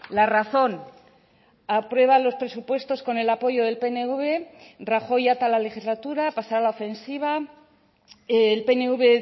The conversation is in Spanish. la razón aprueban los presupuestos con el apoyo del pnv rajoy ata la legislatura pasa a la ofensiva el pnv